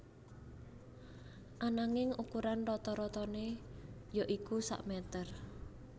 Ananging ukuran rata ratané yaitu sak mèter